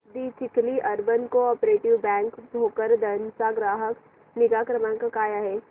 दि Chikhli urban cooperative bank Bhokardan चा ग्राहक निगा क्रमांक काय आहे